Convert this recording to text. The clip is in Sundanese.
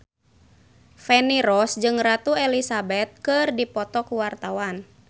Feni Rose jeung Ratu Elizabeth keur dipoto ku wartawan